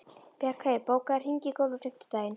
Bjargheiður, bókaðu hring í golf á fimmtudaginn.